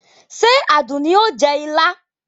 Ṣé o Àdùnní o jẹ ilá?